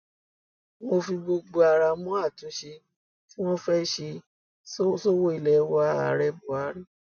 mo fi gbogbo ara mọ àtúnṣe tí wọn fẹẹ ṣe sọwọ ilé wa ààrẹ buhari